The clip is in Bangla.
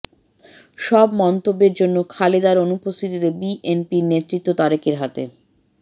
সব মন্তব্যের জন্য খালেদার অনুপস্থিতিতে বিএনপির নেতৃত্ব তারেকের হাতে